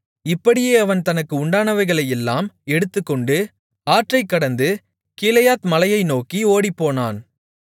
இப்படியே அவன் தனக்கு உண்டானவைகளையெல்லாம் எடுத்துக்கொண்டு ஆற்றைக் கடந்து கீலேயாத் மலையை நோக்கி ஓடிப்போனான்